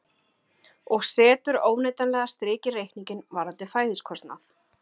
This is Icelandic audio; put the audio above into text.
Og setur óneitanlega strik í reikninginn varðandi fæðiskostnað.